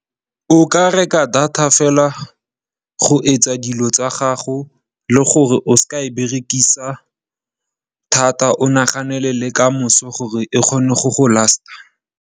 O ka reka data fela go etsa dilo tsa gago le gore o se ke wa e berekisa thata, o naganele le kamoso gore e kgone go go last-a.